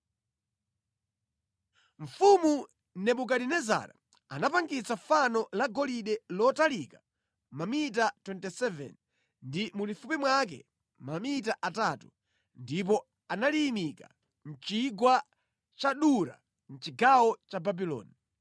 Mfumu Nebukadinezara anapangitsa fano la golide lotalika mamita 27 ndi mulifupi mwake mamita atatu, ndipo analiyimika mʼchigwa cha Dura mʼchigawo cha Babuloni.